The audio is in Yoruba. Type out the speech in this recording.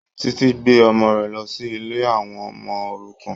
Títí gbé ọmọ rẹ̀ lọ sí ilé àwọ ọmọ-òrukàn.